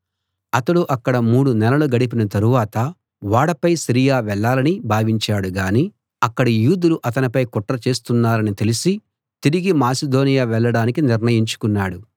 అతడు అక్కడ మూడు నెలలు గడిపిన తరువాత ఓడపై సిరియా వెళ్ళాలని భావించాడు గానీ అక్కడి యూదులు అతనిపై కుట్ర చేస్తున్నారని తెలిసి తిరిగి మాసిదోనియ వెళ్ళడానికి నిర్ణయించుకున్నాడు